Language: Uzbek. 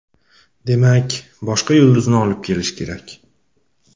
Demak, boshqa yulduzni olib kelish kerak.